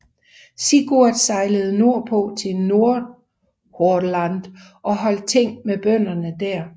Sigurd sejlede nordpå til Nordhordland og holdt ting med bønderne der